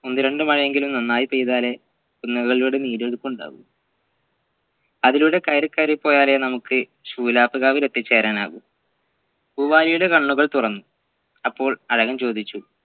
ഒന്നുരണ്ട് മഴയെങ്കിലും നന്നായി പെയ്താലെ കുന്നുകളിലൂടെ നീരൊലിപ്പ് ഉണ്ടാവു അതിലൂടെ കയറി കയറി പോയാലേ നമ്മുക് ശൂലാപ്കാവിൽ എത്തിച്ചേരാനാവു പൂവാലിയുടെ കണ്ണുകൾ തുറന്നു അപ്പോൾ അഴകൻ ചോദിച്ചു